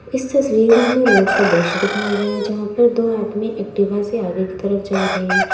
इस तस्वीर में रोड का दृश्य दिखाया गया जहां पर दो आदमी एक्टिवा से आगे की तरफ जा रहे हैं।